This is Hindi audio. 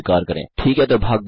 ठीक है तो भाग 2 में मिलते हैं